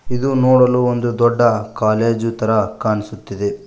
ಇದು ನೋಡಲು ಒಂದು ದೊಡ್ಡ ಕಾಲೇಜು ತರ ಕಾಣಿಸುತ್ತಿದೆ.